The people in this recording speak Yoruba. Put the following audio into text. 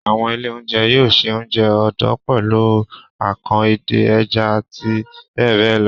Àwọn ilé-oúnjẹ yóò se oúnjẹ odò pẹ̀lú akàn, edé, ẹja àti bẹ́ẹ̀ bẹ́ẹ̀ lọ.